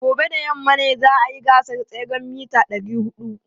Gobe ​​da yamma ne za a yi gasar tseren mita 400.